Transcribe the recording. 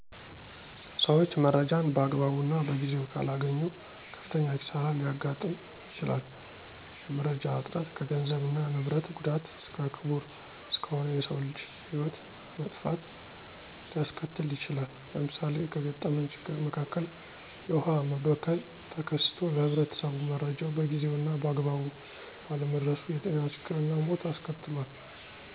ሠዎች መረጃን በአግባቡ እና በጊዜው ካላገኙ ከፍተኛ ኪሳሪ ሊያጋጥም ይችላል። የመረጃ እጥረት ከገንዘብ እና ንብረት ጉዳት እስከ ክቡር እስከሆነው የሰው ልጅ ህይወት መጥፋት ሊያስከትል ይችላል። ለምሳሌ ከገጠመኝ ችግር መካከል የውሃ መበከል ተከስቶ ለህብረተሰቡ መረጃው በጊዜው እና በአግባቡ ባለመድረሱ የጤና ችግር እና ሞት አስከትሏል።